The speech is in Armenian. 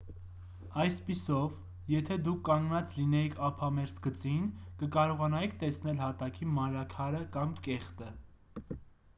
այսպիսով եթե դուք կանգնած լինեիք ափամերձ գծին կկարողանայիք տեսնել հատակի մանրաքարը կամ կեղտը